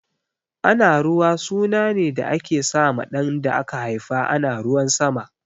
Anaruwa suna ne da ake sa ma ɗan da aka haifa ana ruwan sama